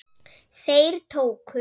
Þeir tóku